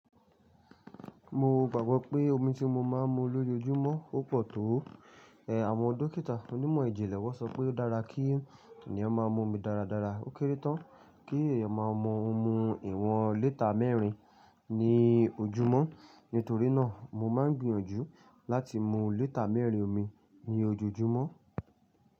Mo gbàgbọ́ pé omi tí mo máa ń mu lójúmọ́ ó pọ̀ tó. Àwọn dókítà onímọ̀ ìjìnlẹ̀ wọ́n sọ pé ó dára kí ènìyàn máa mu omi dáradára. Ó kéré tán kí èèyàn máa mú ọmú ìwọ̀n lítà mẹ́rin ní ojúmọ́. Nítorí náà, mo máa ń gbìyànjú láti mu lítà mẹ́rin omi ní ojoojúmọ́.